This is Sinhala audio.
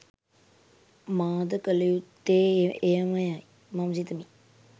මා ද කළයුත්තේ එයමය යි මම සිතමි.